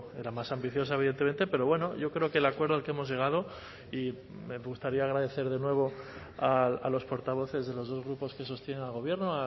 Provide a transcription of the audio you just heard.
era más ambiciosa evidentemente pero bueno yo creo que el acuerdo al que hemos llegado y me gustaría agradecer de nuevo a los portavoces de los dos grupos que sostienen al gobierno